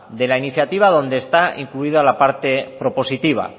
de la iniciativa donde está incluida la parte propositiva